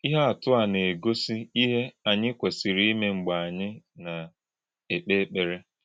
Íhè̄ àtụ́ à nà - ègósí̄ íhè̄ ànyị̄ k̀wèsì̄rì̄ ímé̄ mgbè̄ ànyị̄ nà - èkpè̄ èkpèrè̄.